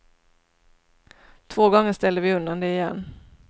Två gånger ställde vi undan det igen.